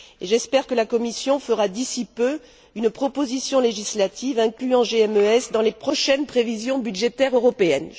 J'espère que la Commission fera d'ici peu une proposition législative incluant GMES dans les prochaines prévisions budgétaires européennes.